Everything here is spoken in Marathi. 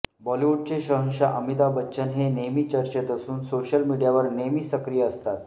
बॉलिवू़डचे शहंशाह अमिताभ बच्चन हे नेहमी चर्चेत असून सोशल मीडियावर नेहमी सक्रिय असतात